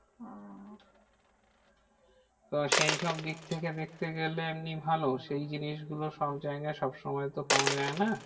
তো সেই সব দিক থেকে দেখেতে গেলে এমনি ভালো। সেই জিনিসগুলো সবজায়গায় সবসময় তো পাওয়া যায় না।